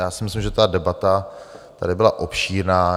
Já si myslím, že ta debata tady byla obšírná.